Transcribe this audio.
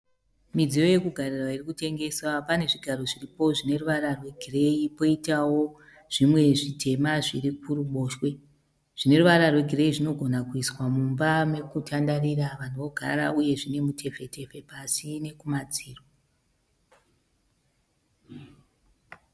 Midziyo yokugarira iri kutengeswa. Pane zvigaro zviripo zvine ruvara rwegireyi koitawo zvimwe zvitema zviri kuruboshwe. Zvine ruvara rwegireyi zvinogona kuiswa mumba mekutandarira vanhu vogara. Uye zvine mitefetefe pasi nekumadziro.